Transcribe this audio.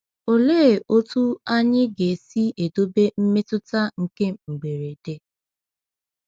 Olee otu anyị ga-esi edobe mmetụta nke mberede?